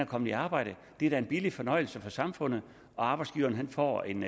kommet i arbejde det er da en billig fornøjelse for samfundet arbejdsgiveren får en